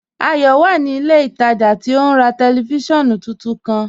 Ayọ wà ní ilẹ̀ ìtajà tí ó n rà tẹlifísiọ̀nù tuntun kan.